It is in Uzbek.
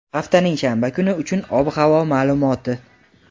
haftaning shanba kuni uchun ob-havo ma’lumoti.